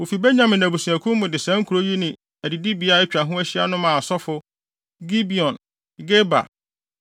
Wofi Benyamin abusuakuw mu de saa nkurow yi ne adidibea a atwa ho ahyia no maa asɔfo: Gibeon, Geba,